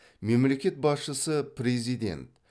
мемлекет басшысы президент